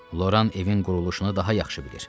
Loran evin quruluşunu daha yaxşı bilir.